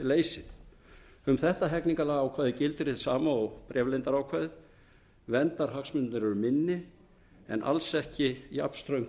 samþykkisleysi um þetta hegningarlagaákvæði gildir hið sama og um bréfleyndarákvæðið verndarhagsmunirnir eru minni en alls ekki jafnströng skilyrði um